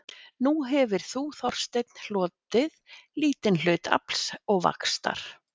Nú hefir þú Þorsteinn hlotið lítinn hlut afls og vaxtar